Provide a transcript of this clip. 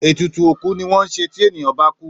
Ètùtù òkú ni wón ńṣe tí ènìyàn bá kú